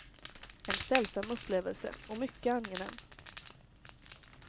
En sällsam upplevelse, och mycket angenäm.